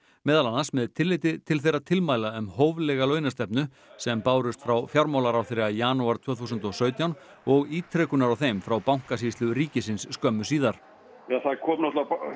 meðal annars með tilliti til þeirra tilmæla um hóflega launastefnu sem bárust frá fjármálaráðherra í janúar tvö þúsund og sautján og ítrekunar á þeim frá Bankasýslu ríkisins skömmu síðar það kom